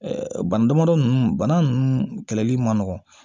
bana damadɔnin bana nunnu kɛlɛli man nɔgɔn